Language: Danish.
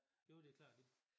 Jo det klart